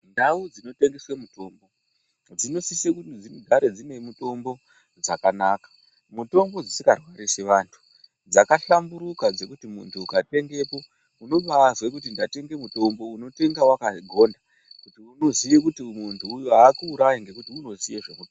Ndau dzinotengeswe mutombo dzinosisa kuti dzigare dzine mutombo dzakanaka mutombo dzisingarwarisi vantu dzakahlamburika dzekuti muntu ukatengapo unobazwe kuti ndatenga mutombo unotenga wakagonda unoziya kuti muntu akuurayi ngekuti unoziya.